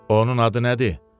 Onun adı nədir?